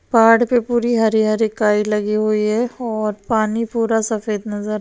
पहाड़ पे पूरी हरी-हरी काई लगी हुई है और पानी पूरा सफ़ेद नजर --